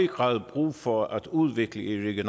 grad brug for at udvikle et